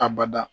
A bada